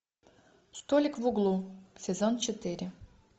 столик в углу сезон четыре